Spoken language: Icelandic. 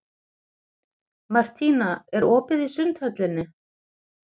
Martína, er opið í Sundhöllinni?